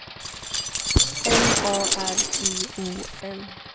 M A R I O N